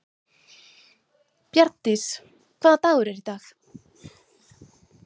Bjarndís, hvaða dagur er í dag?